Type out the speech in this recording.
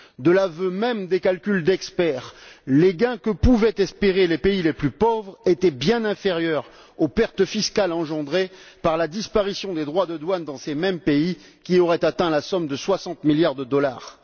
De l'aveu même des experts, les gains que pouvaient espérer les pays les plus pauvres étaient bien inférieurs aux pertes fiscales engendrées par la disparition des droits de douane dans ces mêmes pays, qui auraient atteint la somme de 60 milliards de dollars.